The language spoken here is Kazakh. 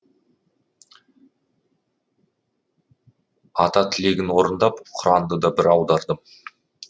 ата тілегін орындап құранды да бір аудардым